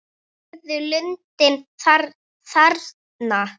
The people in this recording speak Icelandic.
Sérðu lundinn þarna?